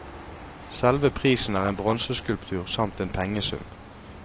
Selve prisen er en bronseskulptur samt en pengesum.